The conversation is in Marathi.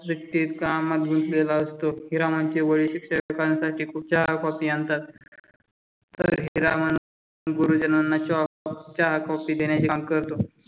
सुट्टीत कामात बसलेला असतो. हिरामनचे वडील शिक्षकांसाठी खूप चहा कॉफी आणतात तरीही हीरामानम गुरुजीनाना चहा कॉफी देण्याचे काम करतो.